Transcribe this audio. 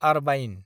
आरबाइन